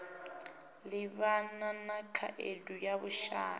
livhana na khaedu ya vhushai